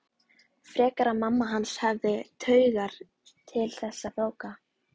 Frekar að mamma hans hefði taugar til þessara bóka.